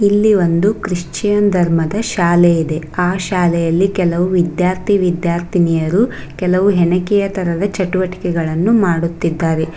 ಇಲ್ಲಿ ಒಂದು ಕ್ರಿಶ್ಚಿಯನ್ ಧರ್ಮದ ಶಾಲೆ ಇದೆ ಆ ಶಾಲೆಯಲ್ಲಿ ಕೆಲವು ವಿದ್ಯಾರ್ಥಿ ವಿದ್ಯಾರ್ಥಿನಿಯರು ಕೆಲವು ಹೆಣಕೆಯ ತರದ ಚಟುವಟಿಕೆಗಳನ್ನು ಮಾಡುತ್ತಿದ್ದಾರೆ.